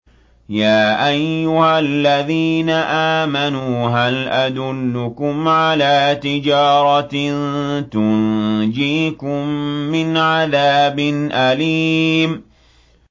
يَا أَيُّهَا الَّذِينَ آمَنُوا هَلْ أَدُلُّكُمْ عَلَىٰ تِجَارَةٍ تُنجِيكُم مِّنْ عَذَابٍ أَلِيمٍ